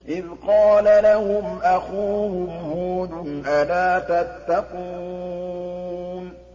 إِذْ قَالَ لَهُمْ أَخُوهُمْ هُودٌ أَلَا تَتَّقُونَ